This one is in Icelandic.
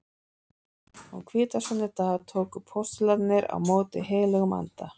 Á hvítasunnudag tóku postularnir á móti heilögum anda.